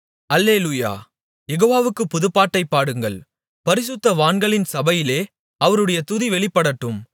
அல்லேலூயா யெகோவாவுக்குப் புதுப்பாட்டைப் பாடுங்கள் பரிசுத்தவான்களின் சபையிலே அவருடைய துதி வெளிப்படட்டும்